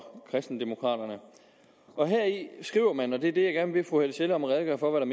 kristendemokraterne og heri skriver man og det er det jeg gerne vil bede fru helle sjelle om at redegøre for hvad